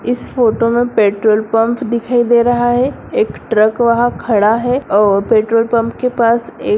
इस फोटो है में पेट्रोलपंप दिखाई दे रहा है एक ट्रक वहाँ खड़ा है और पेट्रोलपम्प के पास एक--